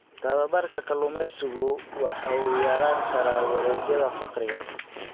Tababarka kalluumaysigu waxa uu yarayn karaa wareegyada faqriga.